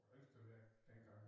Ringstedværk dengang